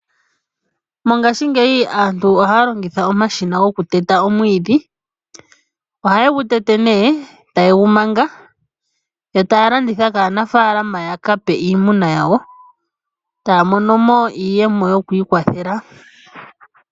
Mongashingeyi aantu oha ya longitha omashina gokuteta omwiidhi . Ohaye gu tete nee eta ye gu manga yo taya landitha kaanafaalama yaka pe iimuna yawo taya mono mo iiyemo yokwiikwathela.